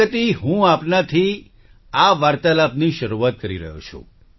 પ્રગતિ હું આપનાથી આ વાર્તાલાપની શરૂઆત કરી રહ્યો છું